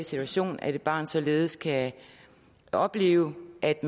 situation at et barn således kan opleve at